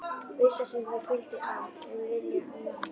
Vissan sem þær hvíldu á: um vilja, um val!